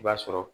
I b'a sɔrɔ